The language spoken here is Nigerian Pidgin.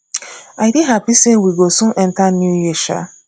i dey happy say we go soon enter new year um